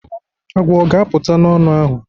Agwọ ọ ga-apụta n'ọnụ ahụ?